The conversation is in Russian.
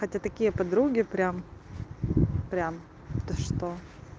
это такие подруги прям прям то что